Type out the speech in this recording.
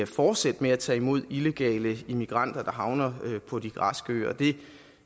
fortsætte med at tage imod illegale immigranter der havner på de græske øer det